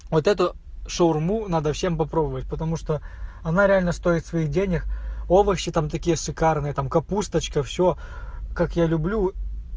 вот это шаурму надо всем попробовать потому что она реально стоит своих денег овощи там такие шикарные там капусточка все как я люблю